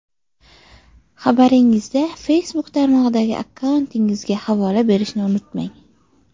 Xabaringizda Facebook tarmog‘idagi akkauntingizga havola berishni unutmang!